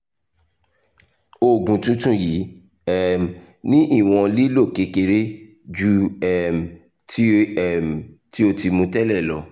oògùn tuntun yii um ni iwọn lilo kere ju um ti o um ti o ti mu tẹlẹ lọ